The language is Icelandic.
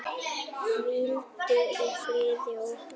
Hvíldu í friði og ró.